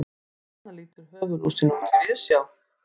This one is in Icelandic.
svona lítur höfuðlúsin út í víðsjá